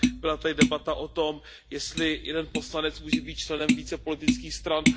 Byla tady debata o tom, jestli jeden poslanec může být členem více politických stran.